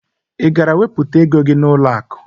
Ị gara wepụta ego gị n'ụlọakụ?